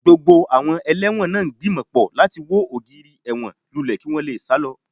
Gbogbo àwọn ẹlẹ́wọ̀n náà ń gbìmọ̀ pọ̀ láti wo ògiri ẹ̀wọ̀n lulẹ̀ kí wọ́n sì sá lọ